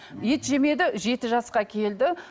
ет жемеді жеті жасқа келді